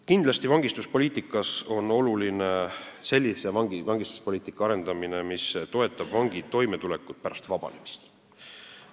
Kindlasti on oluline sellise vangistuspoliitika arendamine, mis toetab vangi toimetulekut pärast vabanemist.